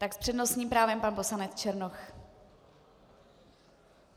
Tak s přednostním právem pan poslanec Černoch.